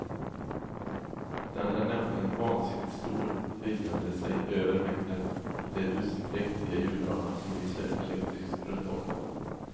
Den är nämligen vansinnigt stor, höjande sig över mängden och det dussin präktiga julgranar som lyser elektriskt runt om den.